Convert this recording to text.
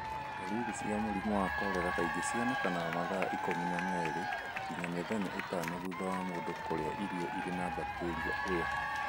Ndariri cia mũrimũ wa korera kaingĩ cionekaga mathaa ikũmi na merĩ nginya mĩthenya ĩtano thutha wa mũndũ kũrĩa irio irĩ na bakteria ĩyo